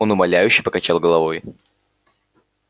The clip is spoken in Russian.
он умоляюще покачал головой